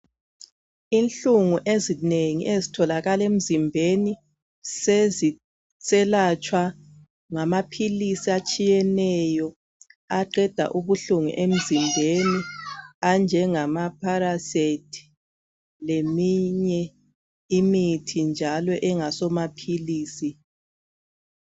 Inhlungu ezinengi ezitholakala emzimbeni seziselatshwa ngamaphilisi atshiyeneyo aqeda ubuhlungu emzimbeni anjengama paracet leminye imithi njalo engasomaphilisi.